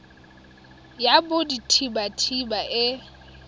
ya bodit habat haba e